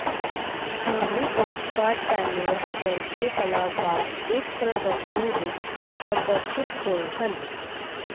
Henry Ossawa Tanner ਵਰਗੇ ਕਲਾਕਾਰ ਇਸ ਪ੍ਰਦਰਸ਼ਨੀ ਵਿਚ ਪ੍ਰਦਰਸ਼ਿਤ ਹੋਏ ਸਨ